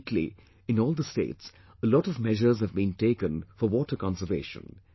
Lately, in all the states a lot of measures have been taken for water conservation